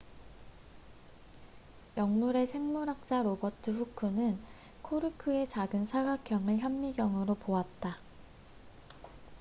영국의 생물학자 로버트 후크robert hooke는 코르크의 작은 사각형을 현미경으로 보았다